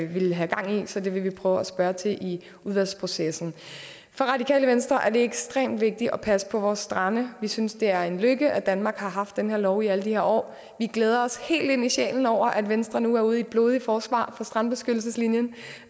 vil have gang i så det vil vi prøve at spørge ind til i udvalgsprocessen for radikale venstre er det ekstremt vigtigt at vi passer på vores strande vi synes det er en lykke at danmark har haft den her lov i alle de her år vi glæder os helt ind i sjælen over at venstre nu er ude i et blodigt forsvar for strandbeskyttelseslinjen